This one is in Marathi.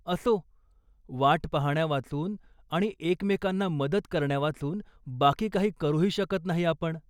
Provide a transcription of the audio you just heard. असो, वाट पाहण्यावाचून आणि एकमेकांना मदत करण्यावाचून बाकी काही करूही नाही शकत आपण.